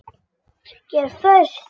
Ég er föst.